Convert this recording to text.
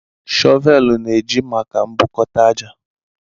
Shọvelu na-eji maka mbukota ájá